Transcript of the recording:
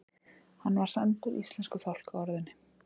Hann var sæmdur íslensku fálkaorðunni